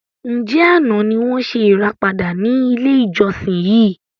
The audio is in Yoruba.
Ǹjẹ́ àná ni wọn ṣe ìràpadà ni ilé ìjọsìn yìí?